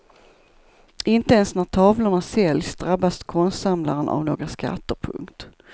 Inte ens när tavlorna säljs drabbas konstsamlaren av några skatter. punkt